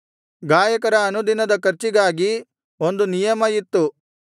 ಗಾಯಕರ ಅನುದಿನದ ಖರ್ಚಿಗಾಗಿ ಒಂದು ನಿಯಮ ಇತ್ತು